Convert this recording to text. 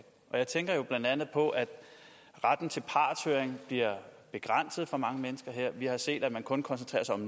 jeg tænker blandt andet på at retten til partshøring bliver begrænset for mange mennesker her vi har set at man kun koncentrerer sig om